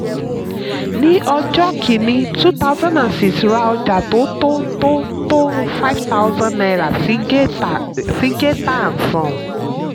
ní ọjọ́ kínní two thousand and six ra ọjà tó tó tó tó five thousand naira sí géètà geeta and sons.